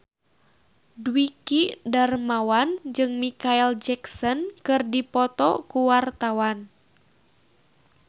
Dwiki Darmawan jeung Micheal Jackson keur dipoto ku wartawan